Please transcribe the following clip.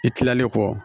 I kilalen kɔ